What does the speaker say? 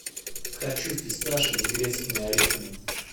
хочу фисташек с грецкими орехами